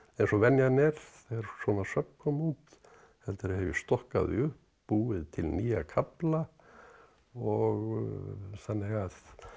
eins og venjan er þegar svona söfn koma út heldur hef ég stokkað þau upp búið til nýja kafla og þannig að